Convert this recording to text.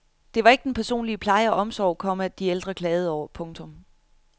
Det var ikke den personlige pleje og omsorg, komma de ældre klagede over. punktum